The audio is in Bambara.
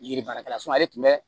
Yiri baarakɛla ale tun bɛ